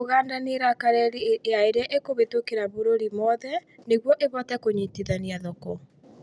ũganda nĩ raka reri ya ĩrĩa ĩkũhĩtũkĩra bũrũri mothe nĩguo ĩhote kũnyitithania thoko